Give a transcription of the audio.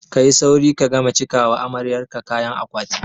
Ka yi sauri ka gama cika wa amaryar ka kayan akwati!